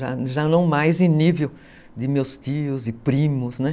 Já já não mais em nível de meus tios e primos, né?